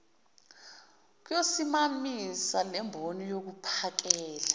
yokusimamisa lemboni yokuphakela